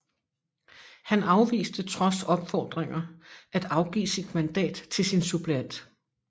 Han afviste trods opfordringer at afgive sit mandat til sin suppleant